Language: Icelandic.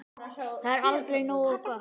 Það er aldrei nógu gott.